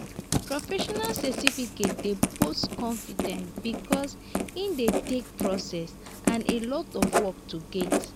professional certificate dey post confidence because e dey take process and alot of work to get